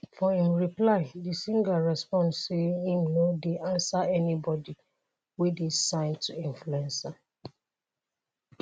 for im reply di singer respond say im no dey answer anybodi wey dey signed to influencer.